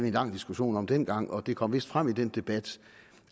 en lang diskussion om dengang og det kom vist frem i den debat